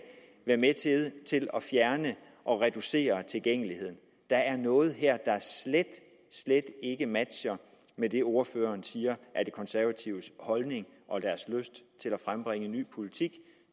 være med til at fjerne og reducere tilgængeligheden der er noget her der slet slet ikke matcher med det ordføreren siger er de konservatives holdning og deres lyst til at frembringe ny politik